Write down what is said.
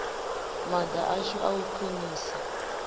maga ashu a u khwinisa